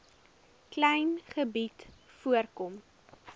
klein gebied voorkom